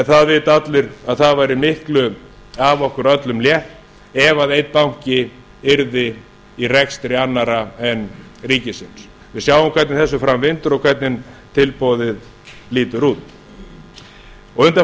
það vita allir að það væri miklu af okkur öllum létt ef einn banki væri í rekstri annarra en ríkisins við sjáum hvernig þessu fram vindur og hvernig tilboðið lítur út undanfarna daga